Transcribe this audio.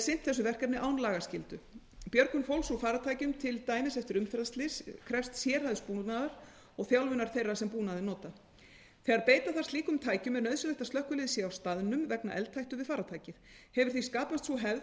sinnt þessu verkefni án lagaskyldu björgun fólks úr farartækjum til dæmis eftir umferðarslys krefst sérhæfðs búnaðar og þjálfunar þeirra sem búnaðinn nota þegar beita þarf slíkum tækjum er nauðsynlegt að slökkvilið sé á staðnum vegna eldhættu við farartækið hefur því skapast sú hefð að